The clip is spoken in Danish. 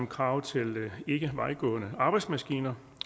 krav til ikkevejgående arbejdsredskaber